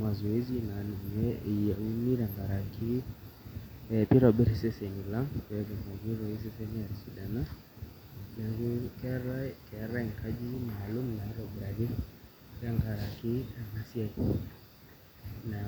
masoesi naa ninye eyiuni tenkaraki pee itobirr iseseni lang', pee etumoki iseseni aatisidana neeku keetai inkajijik maalum naitobiraki tenkaraki ena siai, naa